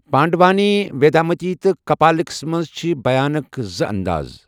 پانڈوانی، ویدامتی تہٕ کپالکس منٛز چھِ بیانٕک زٕ اَنٛداز۔